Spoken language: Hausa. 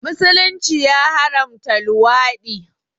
Musulunci ya haramta luwaɗi